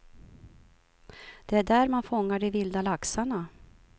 Det är där man fångar de vilda laxarna.